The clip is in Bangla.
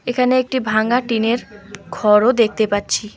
এখানে একটি ভাঙ্গা টিনের ঘরও দেখতে পাচ্ছি।